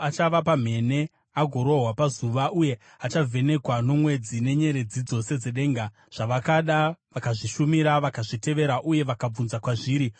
Achava pamhene agorohwa nezuva uye achavhenekwa nomwedzi nenyeredzi dzose dzedenga, zvavakada vakazvishumira vakazvitevera uye vakabvunza kwazviri,